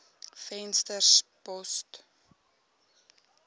venterspost